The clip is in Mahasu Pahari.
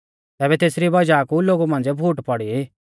तैबै तेसरी वज़ाह कु लोगु मांझ़िऐ फूट पौड़ी